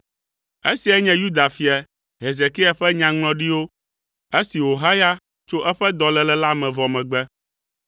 Esiae nye Yuda fia, Hezekia, ƒe nyaŋlɔɖiwo, esi wòhaya tso eƒe dɔléle la me vɔ megbe: